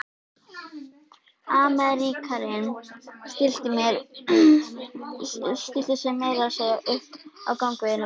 Ameríkaninn stillti sér meira að segja upp í gangveginum.